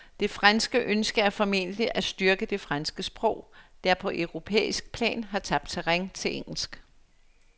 Det franske ønske er formentlig at styrke det franske sprog, der på europæisk plan har tabt terræn til engelsk.